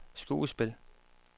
skuespil